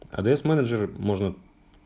адс менеджер можно